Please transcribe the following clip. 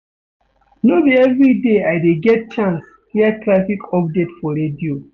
No be everyday I dey get chance hear traffic update for radio.